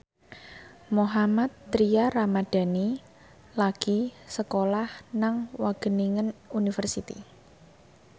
Mohammad Tria Ramadhani lagi sekolah nang Wageningen University